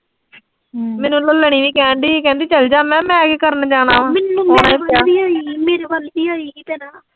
ਮੈਨੂੰ ਮੰਨਾ ਨੇ, ਇਹੀ ਕਹਿਣ ਡਈ ਸੀ, ਕਹਿੰਦੀ ਚਲ ਜਾ, ਮੈਂ ਕਿਆ ਮੈਂ ਕੀ ਕਰਨ ਜਾਣਾ ਵਾ